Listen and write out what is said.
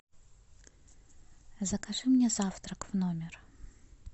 закажи мне завтрак в номер